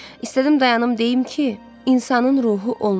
İstədim dayanım deyim ki, insanın ruhu olmur.